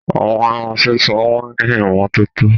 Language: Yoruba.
Àwọn ẹrán sísun o ni ìmọ̀tọ̀tọ